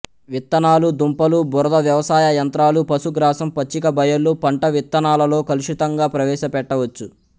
విత్తనాలు దుంపలు బురద వ్యవసాయ యంత్రాలు పశుగ్రాసం పచ్చిక బయళ్ళు పంట విత్తనాలలో కలుషితంగా ప్రవేశపెట్టవచ్చు